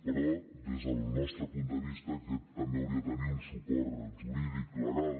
però des del nostre punt de vista aquest també hauria de tenir un suport jurídic legal